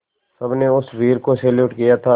सबने उस वीर को सैल्यूट किया था